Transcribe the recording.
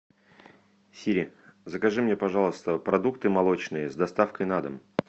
сири закажи мне пожалуйста продукты молочные с доставкой на дом